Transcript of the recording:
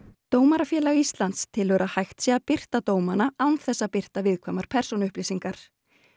Dómarafélagið telur að hægt sé að birta dómana án þess að birta viðkvæmar persónuupplýsingar